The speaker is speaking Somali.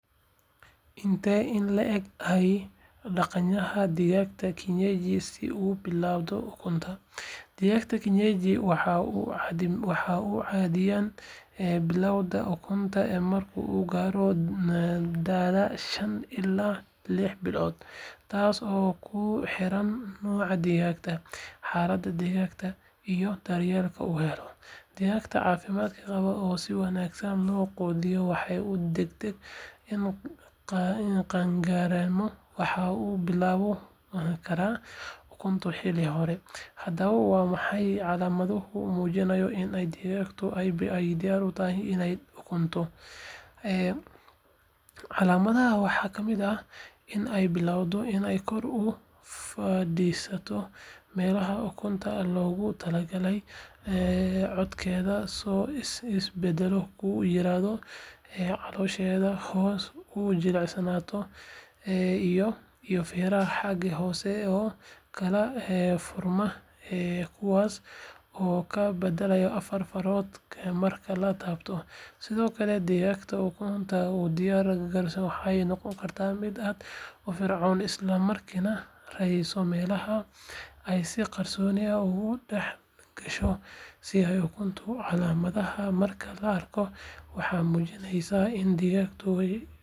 Intee in le'eg ayay qaadanaysaa digaaga kienyeji si uu u bilaabo ukunta? Digaaga kienyeji waxa uu caadiyan bilaabaa ukunta marka uu gaaro da’da shan ilaa lix bilood, taas oo ku xiran nooca digaagga, xaaladda deegaanka, iyo daryeelka uu helo. Digaagga caafimaad qaba oo si wanaagsan loo quudiyo waxa uu degdeg u gaarayaa qaan-gaarnimo waxaana uu bilaabi karaa ukunta xilli hore. Haddaba, waa maxay calaamadaha muujinaya in digaagadu ay diyaar u tahay inay ukunto? Calaamadahaas waxaa ka mid ah: in ay bilaabato inay kor u fadhiisato meelaha ukunta loogu talagalay, codkeeda oo isbedel ku yimaado, caloosheeda hoose oo jilcata, iyo feeraha xagga hoose oo kala furma kuwaas oo ka badan afar farood marka la taabto. Sidoo kale, digaagta ukunta u diyaar garoobaysa waxay noqotaa mid aad u firfircoon isla markaana raadisa meelaha ay si qarsoodi ah ugu dhex gasho si ay u ukunto. Calaamadahan marka la arko, waxay muujinayaan in digaagtu ku dhowdahay inay bilaabato ukunta.